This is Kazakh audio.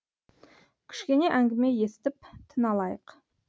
кішкене әңгіме естіп тын алайық